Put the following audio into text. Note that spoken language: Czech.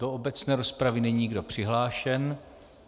Do obecné rozpravy není nikdo přihlášen.